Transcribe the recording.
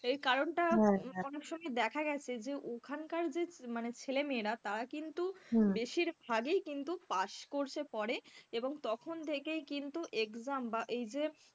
এর কারণটা অনেক সময় দেখা গেছে যে ওখানকার যে মানে ছেলেমেয়েরা তারা কিন্তু বেশিরভাগই কিন্তু pass course এ পড়ে এবং তখন থেকেই কিন্তু exam বা এই যে,